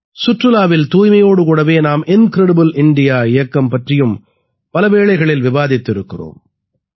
சுற்றுலாவில் தூய்மையோடு கூடவே நாம் இன்கிரெடிபிள் இந்தியா இயக்கம் பற்றியும் பல வேளைகளில் விவாதித்திருக்கிறோம்